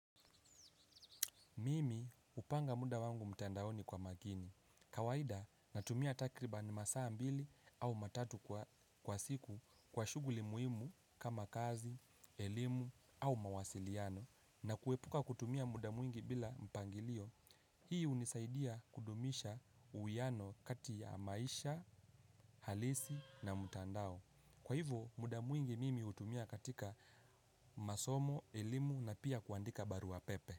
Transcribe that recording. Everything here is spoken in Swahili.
Mimi hupanga muda wangu mtandaoni kwa makini. Kawaida, natumia takriban masaa mbili au matatu kwa siku kwa shughuli muhimu kama kazi, elimu au mawasiliano. Na kuepuka kutumia muda mwingi bila mpangilio. Hii unisaidia kudumisha uhuiano kati ya maisha halisi na mtandao. Kwa hivo, muda mwingi mimi hutumia katika masomo, elimu na pia kuandika barua pepe.